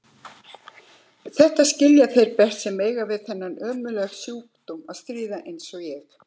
Þetta skilja þeir best sem eiga við þennan ömurlega sjúkdóm að stríða eins og ég.